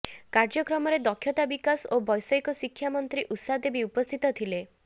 କାର୍ଯ୍ୟକ୍ରମରେ ଦକ୍ଷତା ବିକାଶ ଓ ବ୘ଷୟିକ ଶିକ୍ଷା ମନ୍ତ୍ରୀ ଉଷା ଦେବୀ ଉପସ୍ଥିତ ଥିଲେ